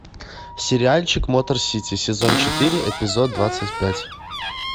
сериальчик мотор сити сезон четыре эпизод двадцать пять